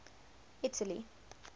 italy